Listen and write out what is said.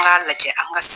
N k'a lajɛ an ka